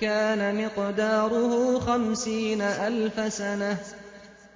كَانَ مِقْدَارُهُ خَمْسِينَ أَلْفَ سَنَةٍ